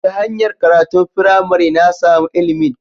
Ta hanyar karatun firamare, na samu ilimin